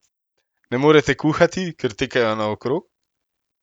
Ne morete kuhati, ker tekajo naokrog?